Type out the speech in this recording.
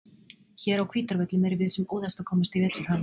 Hér á Hvítárvöllum erum við sem óðast að komast í vetrarham.